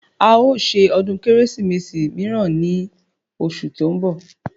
A o ṣe ọdún Kérésìmesì míràn ní oṣù tí ó ń bọ̀